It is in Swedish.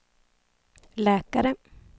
läkare